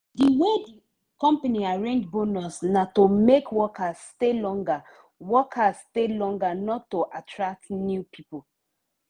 the way the company arrange bonus na to make workers stay longer workers stay longer not to attract new people.